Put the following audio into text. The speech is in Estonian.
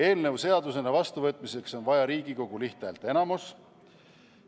Eelnõu seadusena vastuvõtmiseks on vaja Riigikogu lihthäälteenamust.